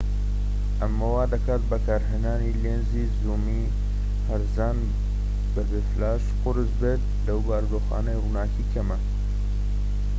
ئەمە وا دەکات بەکارهێنانی لێنزی زوومی هەرزان بە بێ فلاش قورس بێت لەو بارودۆخانەی ڕووناکی کەمە